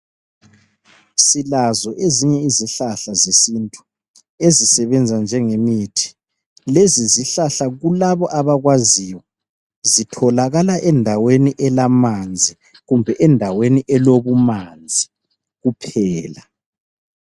Silazo ezinye izihlahla zesintu ezisebenza njengemithi ,lezi zihlahla kulabo abakwaziyo zitholakala endaweni elamanzi kumbe endaweni elobumanzi kuphela.